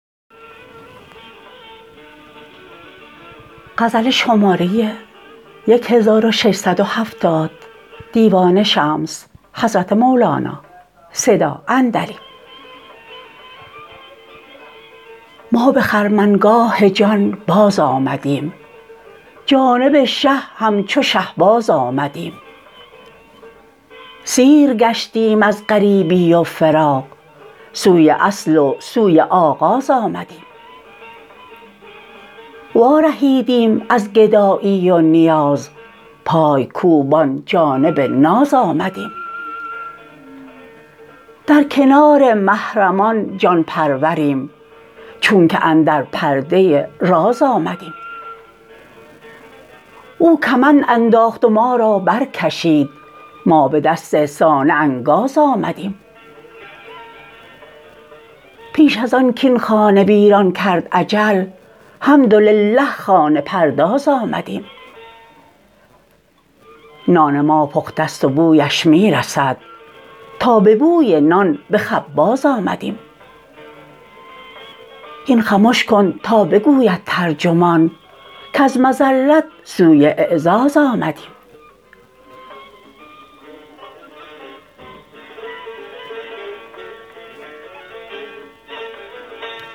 ما به خرمنگاه جان بازآمدیم جانب شه همچو شهباز آمدیم سیر گشتیم از غریبی و فراق سوی اصل و سوی آغاز آمدیم وارهیدیم از گدایی و نیاز پای کوبان جانب ناز آمدیم در کنار محرمان جان پروریم چونک اندر پرده راز آمدیم او کمند انداخت و ما را برکشید ما به دست صانع انگاز آمدیم پیش از آن کاین خانه ویران کرد اجل حمدلله خانه پرداز آمدیم نان ما پخته ست و بویش می رسد تا به بوی نان به خباز آمدیم هین خمش کن تا بگوید ترجمان کز مذلت سوی اعزاز آمدیم